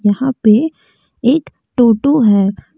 यहां पे एक टोटो है।